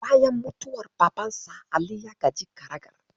Bayan mutuwar babansa, Ali ya gaji karagar.